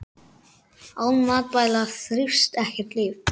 Án matvæla þrífst ekkert líf.